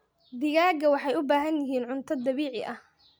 Digaagga waxay u baahan yihiin cunto dabiici ah.